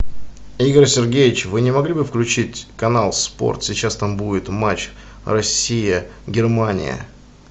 игорь сергеевич вы не могли бы включить канал спорт сейчас там будет матч россия германия